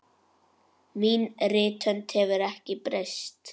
Mín rithönd hefur ekki breyst.